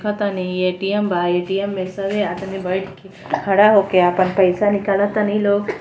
ATM बा। ATM में सभे आदमी बैठ के खड़ा होके आपन पैसा निकालतानी लोग।